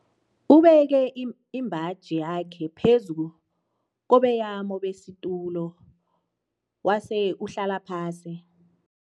Ubeke imbaji yakhe phezu kobeyamo besitulo wase uhlala phasi.